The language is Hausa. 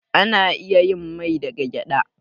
Ana iya yin mai daga gyaɗa.